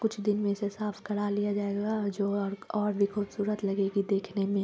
कुछ दिन में इसे साफ करा लिया जाएगा जो अ-और भी खूबसूरत लगेगी देखने में।